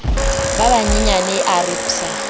ba banyenyane a re psa